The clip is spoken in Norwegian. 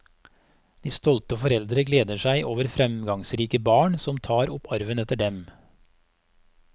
De stolte foreldre gleder seg over fremgangsrike barn som tar opp arven etter dem.